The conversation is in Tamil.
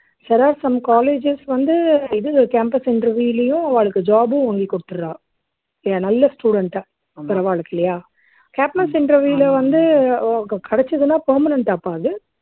சில some colleges வந்து இது campus interview லயும் அவாளுக்கு job உம் வாங்கி கொடுத்துடுறா இல்லையா நல்ல student அ அவாளுக்கு இல்லையா campus interview ல கிடச்சுதுன்னா permanent ஆ அப்போ அது